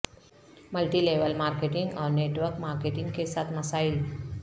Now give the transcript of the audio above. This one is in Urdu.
ملٹی لیول مارکیٹنگ اور نیٹ ورک مارکیٹنگ کے ساتھ مسائل